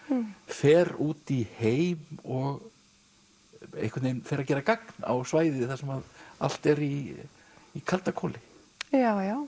fer út í heim og fer að gera gagn á svæði þar sem allt er í í kalda koli já já